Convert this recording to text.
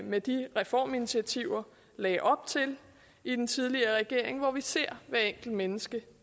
med de reforminitiativer lagde op til i den tidligere regering hvor vi ser hvert enkelt menneske